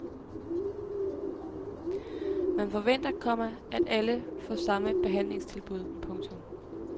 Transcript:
Man forventer, komma at alle får samme behandlingstilbud. punktum